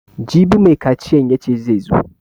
Jibi mai kaciyan yace zai zo